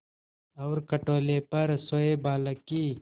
और खटोले पर सोए बालक की